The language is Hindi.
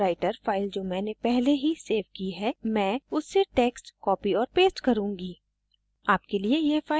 libreoffice writer फाइल जो मैंने पहले ही सेव की है मैं उससे texts copy और paste करुँगी